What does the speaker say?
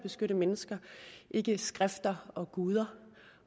beskytte mennesker ikke skrifter og guder